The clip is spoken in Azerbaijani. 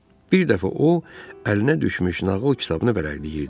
Bir dəfə o əlinə düşmüş nağıl kitabını vərəqləyirdi.